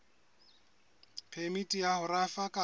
phemiti ya ho rafa kapa